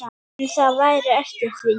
En það væri eftir því.